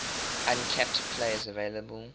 uncapped players available